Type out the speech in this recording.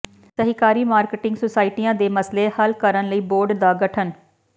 ਸਹਿਕਾਰੀ ਮਾਰਕਟਿੰਗ ਸੁਸਾਇਟੀਆਂ ਦੇ ਮਸਲੇ ਹੱਲ ਕਰਨ ਲਈ ਬੋਰਡ ਦਾ ਗਠਨ